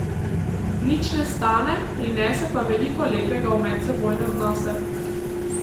Nič ne stane, prinese pa veliko lepega v medsebojne odnose.